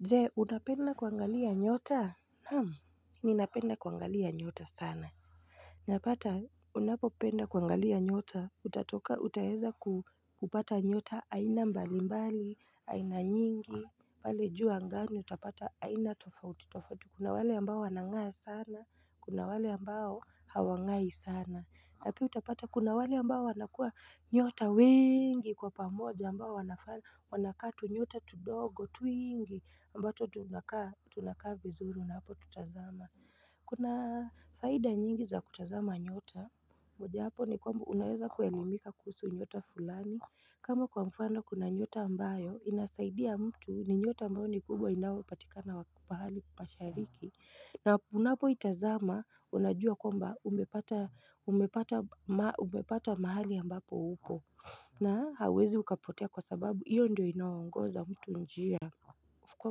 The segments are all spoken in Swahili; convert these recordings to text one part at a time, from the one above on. Je, unapenda kuangalia nyota? Naam, ninapenda kuangalia nyota sana. Napata, unapopenda kuangalia nyota, utatoka, utaweza kupata nyota aina mbali mbali, aina nyingi, pale juu angani utapata aina tofauti tofauti. Kuna wale ambao wanang'aa sana, kuna wale ambao hawang'ai sana. Na pia utapata kuna wale ambao wanakuwa nyota wengi kwa pamoja ambao wanafaa. Wanakaa tunyota tudogo twiingi ambato tunakaa tunakaa vizuru na unapotutazama. Kuna faida nyingi za kutazama nyota. Mojawapo ni kwamba unaweza kuelimika kuhusu nyota fulani kama kwa mfano kuna nyota ambayo inasaidia mtu ni nyota ambayo ni kubwa inayopatika pahali mashariki na unapoitazama unajua kwamba umepata, umepata mahali ambapo uko. Na hauwezi ukapotea kwa sababu hiyo ndiyo inaongoza mtu njia. Kwa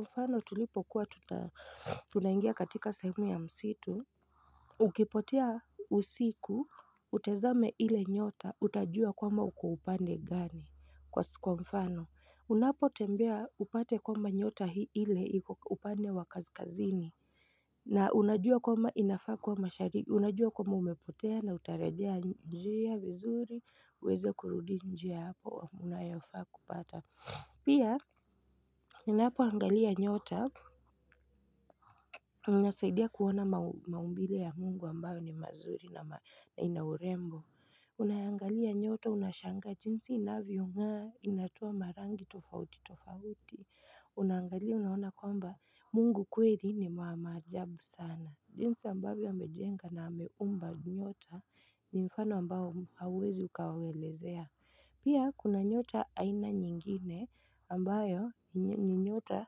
mfano tulipokuwa tunaingia katika sehemu ya msitu Ukipotea usiku utazame ile nyota utajua kwamba uko upande gani. Kwa mfano unapotembea upate kwamba nyota ile iko upande wa kaskazini na unajua kwamba inafaa kuwa mashariki, unajua kwamba umepotea na utarejea njia vizuri uweze kurudi njia hapo unayofaa kupata Pia, unapoangalia nyota, unasaidia kuona maumbile ya mungu ambayo ni mazuri na ina urembo Unaiangalia nyota unashanga jinsi inavyong'aa inatoa marangi tofauti tofauti Unaangalia unaona kwamba mungu kweli ni wa maajabu sana. Jinsi ambavyo amejenga na ameumba nyota ni mfano ambao hauwezi ukauelezea Pia kuna nyota aina nyingine ambayo ni nyota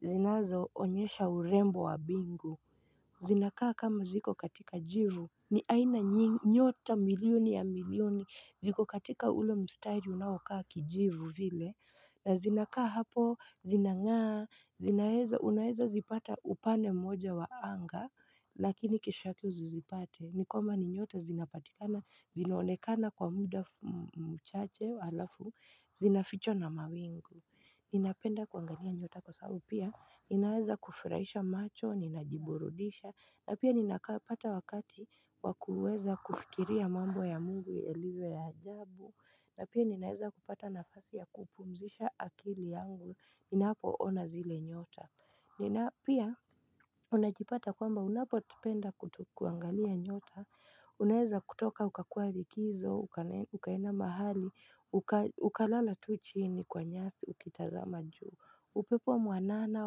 zinazoonyesha urembo wa bingu zinakaa kama ziko katika jivu. Ni aina nyota milioni ya milioni, ziko katika ule mstaili unaoakaa kijivu vile, na zinakaa hapo zinangaa zinaweza, unaweza zipata upande mmoja wa anga, lakini kesho yake usizipate, ni kama ni nyota zinapatikana, zinaonekana kwa muda mchache alafu zinafichwa na mawingu. Ninapenda kuangalia nyota kwa sababu pia ninaweza kufurahisha macho, ninajiburudisha. Na pia ninapata wakati wa kuweza kufikiria mambo ya mungu yalivyo ya ajabu na pia ninaweza kupata nafasi ya kupumzisha akili yangu ninapoona zile nyota. Pia unajipata kwamba unapo penda kuangalia nyota Unaweza kutoka ukakuwa likizo ukaenda mahali ukalala tu chini kwa nyasi ukitazama juu. Upepo mwanana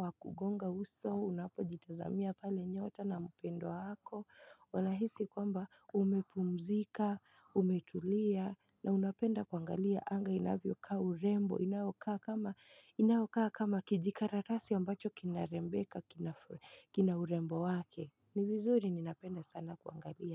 wakugonga uso unapojitazamia pale nyota na mpendwa wako Unahisi kwamba umepumzika, umetulia na unapenda kuangalia anga inavyokaa urembo, inayokaa kama kijikaratasi ambacho kinarembeka kina urembo wake. Ni vizuri ninapenda sana kuangalia.